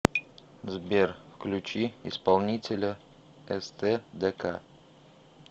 сбер включи исполнителя эстэдэка